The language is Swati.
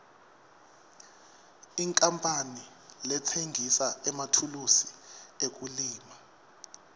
inkapani letsengisa emathulusi ekulima